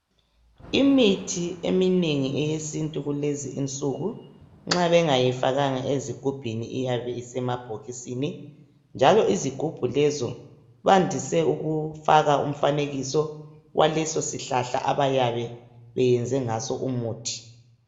imithi eminengi eyesintu kulezinsku nxa bengayifakanga ezigubhini iyabe isemabhokisini njalo izigubhu lezo bandise ukufaka umfanekiso walesosihlahla abayabe beyenze ngaso umuthi